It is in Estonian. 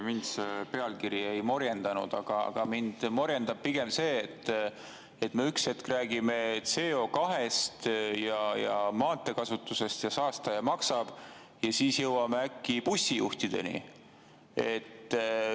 Mind see pealkiri ei morjendanud, aga mind morjendab pigem see, et me ühel hetkel räägime CO2-st, maanteekasutusest ja saastaja-maksab-põhimõttest, aga siis jõuame äkki bussijuhtideni.